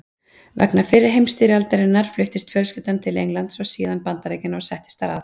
Vegna fyrri heimsstyrjaldarinnar fluttist fjölskyldan til Englands og síðan Bandaríkjanna og settist þar að.